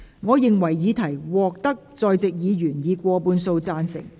我認為議題獲得在席議員以過半數贊成。